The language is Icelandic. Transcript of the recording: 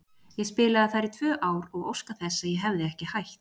Ég spilaði þar í tvö ár og óska þess að ég hefði ekki hætt.